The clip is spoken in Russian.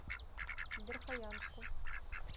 верхоянску